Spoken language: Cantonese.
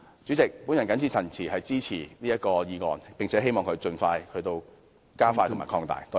主席，我謹此陳辭，支持這項決議案，並且希望強制性標籤計劃加快進度和擴大範圍。